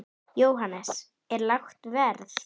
Jóhannes: Er lágt verð?